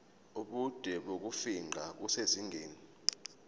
ubude bokufingqa kusezingeni